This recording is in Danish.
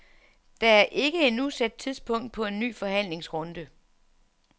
Der er ikke endnu sat tidspunkt på en ny forhandlingsrunde.